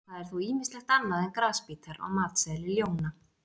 Það er þó ýmislegt annað en grasbítar á matseðli ljóna.